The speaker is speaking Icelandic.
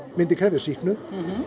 myndi krefjast sýknu